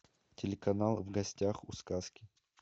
телеканал в гостях у сказки